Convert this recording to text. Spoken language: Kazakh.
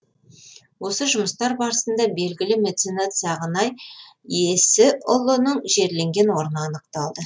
осы жұмыстар барысында белгілі меценат сағынай есіұлының жерленген орны анықталды